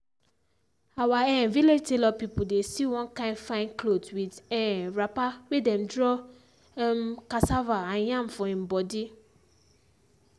our um village tailor pipo dey sew one kind fine clothes with um wrapper wey dem draw um cassava and yam for im body.